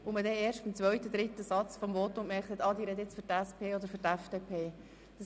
Dort hat man erst beim zweiten oder dritten Satz eines Votums gemerkt, ob jemand für die SP oder für die FDP spricht.